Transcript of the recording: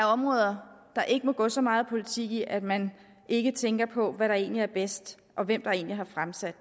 områder der ikke må gå så meget politik i at man ikke tænker på hvad der egentlig er bedst og hvem der har fremsat